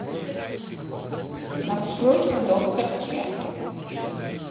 маршрут докторъ ч